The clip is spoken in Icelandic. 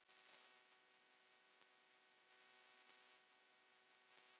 Hjörtur: Hvers vegna ekki?